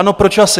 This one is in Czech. Ano, proč asi?